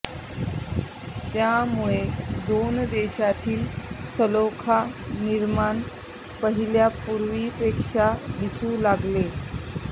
त्यामुळे दोन देशातील सलोखा निर्माण पहिल्या पूर्वीपेक्षा दिसू लागले